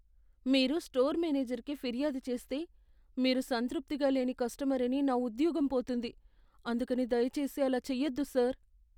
మీరు స్టోర్ మేనేజర్కి ఫిర్యాదు చేస్తే, మీరు సంతృప్తిగా లేని కస్టమర్ అని నా ఉద్యోగం పోతుంది, అందుకని దయచేసి అలా చేయొద్దు సార్.